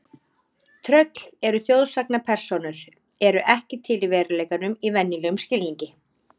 Tröll eru þjóðsagnapersónur eru ekki til í veruleikanum í venjulegum skilningi.